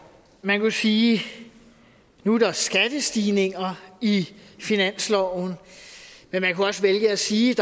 man kunne sige at nu er der skattestigninger i finansloven men man kunne også vælge at sige